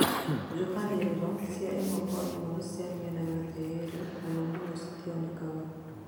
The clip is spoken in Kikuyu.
njũkaniriro cia ĩmwe kwa ĩmwe cĩa mĩena yothe yerĩ mũno mũno citionekaga